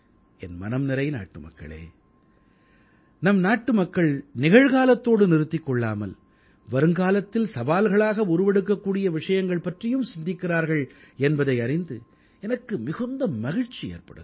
என் மனம்நிறை நாட்டுமக்களே நம் நாட்டுமக்கள் நிகழ்காலத்தோடு நிறுத்திக் கொள்ளாமல் வருங்காலத்தில் சவால்களாக உருவெடுக்கக்கூடிய விஷயங்கள் பற்றியும் சிந்திக்கிறார்கள் என்பதை அறிந்து எனக்கு மிகுந்த மகிழ்ச்சி ஏற்படுகிறது